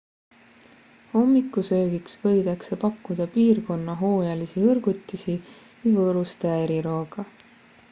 hommikusöögiks võidakse pakkuda piirkonna hooajalisi hõrgutisi või võõrustaja erirooga